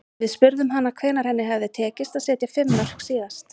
Við spurðum hana hvenær henni hefði tekist að setja fimm mörk síðast.